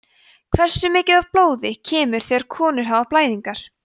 hversu mikið blóð kemur þegar konur hafa blæðingar